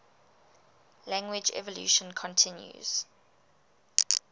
language evolution continues